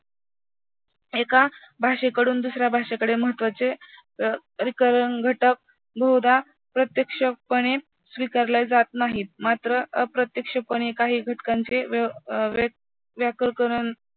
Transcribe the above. एका भाषेकडून दुसऱ्या भाषेकडे महत्त्वाचे अं घटक बहुदा प्रत्यक्षपणे स्वीकारले जात नाहीत मात्र, अप्रत्यक्षपणे काही घटकांचे